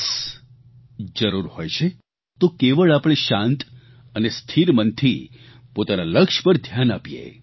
બસ જરૂર હોય છે તો કેવળ આપણે શાંત અને સ્થિર મનથી પોતાના લક્ષ્ય પર ધ્યાન આપીએ